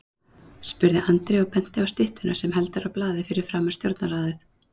spurði Andri og benti á styttuna sem heldur á blaði fyrir framan Stjórnarráðið.